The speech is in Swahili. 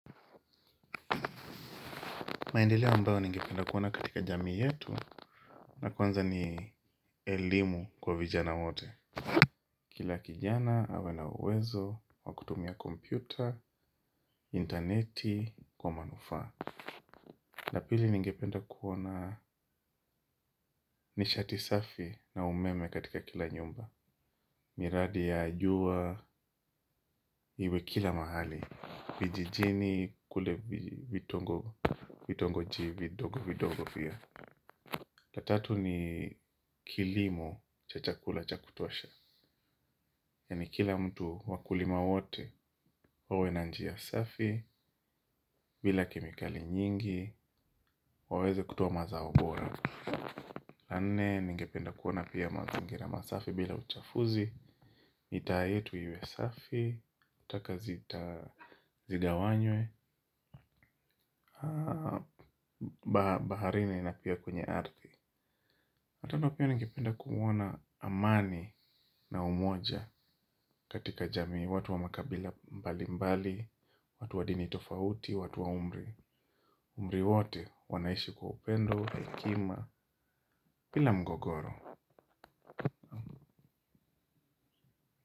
Maendeleo ambayo ningependa kuona katika jamii yetu ya kwanza ni elimu kwa vijana wote. Kila kijana awe na uwezo, wa kutumia kompyuta, interneti kwa manufaa. Na pili ningependa kuona nishati safi na umeme katika kila nyumba. Miradi ya jua iwe kila mahali, vijijini kule vitongoji vidogo vidogo pia. La tatu ni kilimo cha chakula cha kutosha. Yaani kila mtu wakulima wote wawe na njia safi. Bila kemikali nyingi waweze kutoa mazao bora. La nne ningependa kuona pia mazingira masafi bila uchafuzi mitaa yetu iwe safi taka zigawanywe baharini na pia kwenye ardhi. La tano pia ningependa kuona amani na umoja. Katika jamii watu wa makabila mbalimbali, watu wa dini tofauti, watu wa umri. Umri wote wanaishi kwa upendo, hekima, bila mgogoro.